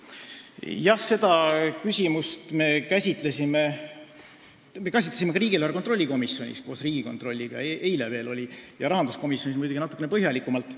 Jah, seda küsimust me käsitlesime ka riigieelarve kontrolli komisjonis koos Riigikontrolliga veel eilegi ja rahanduskomisjonis tegime seda muidugi natukene põhjalikumalt.